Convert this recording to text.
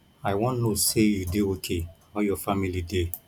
i wan know say you dey okay how your family dey